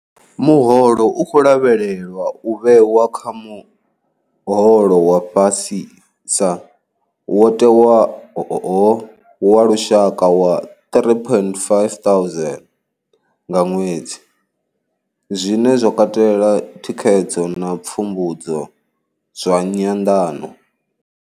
Muholo u khou lavhelelwa u vhewa kha muholo wa fhasisa wo tewaho wa lushaka wa R3 500 nga ṅwedzi, zwine zwa katela thikhedzo na pfumbudzo zwa nyanḓano.